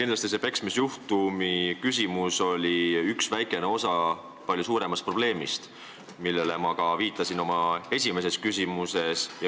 Kindlasti küsimus peksmisjuhtumi kohta puudutas väikest osa palju suuremast probleemist, millele ma viitasin oma esimeses küsimuses.